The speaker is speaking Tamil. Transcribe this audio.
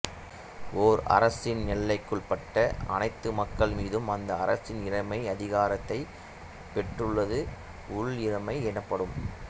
ஓர் அரசின் எல்லைகளுக்குட்பட்ட அனைத்து மக்கள் மீதும் அந்த அரசின் இறைமை அதிகாரத்தைப் பெற்றுள்ளது உள் இறை மை எனப்படும்